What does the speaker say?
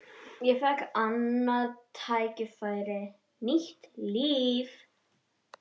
Ég fékk annað tækifæri, nýtt líf.